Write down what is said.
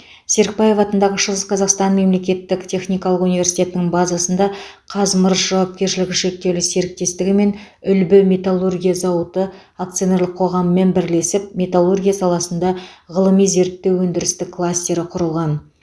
серікбаев атындағы шығыс қазақстан мемлекеттік техникалық университетінің базасында қазмырыш жауапкершілігі шектеулі серіктестігімен үлбі металлургия зауыты акционерлік қоғамымен бірлесіп металлургия саласында ғылыми зерттеу өндірістік кластері құрылған